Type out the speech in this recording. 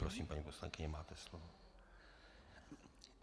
Prosím, paní poslankyně, máte slovo.